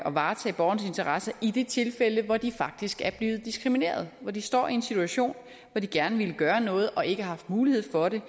at varetage borgernes interesser i de tilfælde hvor de faktisk er blevet diskrimineret hvor de står i en situation og gerne vil gøre noget og ikke har haft mulighed for det